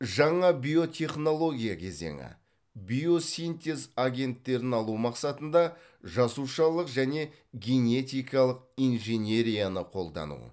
жаңа биотехнология кезеңі биосинтез агенттерін алу мақсатында жасушалық және генетикалық инженерияны қолдану